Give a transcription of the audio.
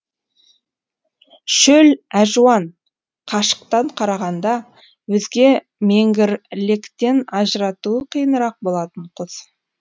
шөл әжуан қашықтан қарағанда өзге меңгірлектен ажыратуы қиынырақ болатын құс